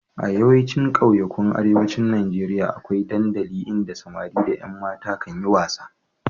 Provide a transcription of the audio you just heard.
A yawaicin ƙauyukan Arewacin Najeriya akwai dandali inda samari da ƴan mata kan yi wasa.